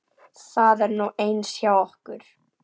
Það er nú eins hjá okkur.